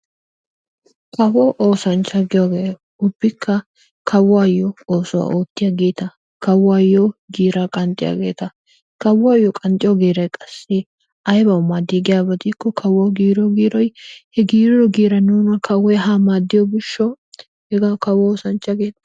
Kawo oosanchcha giyogee ubbikka kawuyyo oosuwa oottiyageeta. Kawuyyo giiraa qanxxiyageeta kawuyyo qanxxiyo giiray qassi aybawu maaddi giyaba gidikko kawuwawu giiriyo giiroy he giirido giiran kawoy haa maaddiyo gishshawu hegawu kawo oosanchcha geettees...